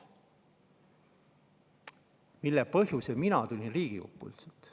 olin mina üldse Riigikokku tulnud.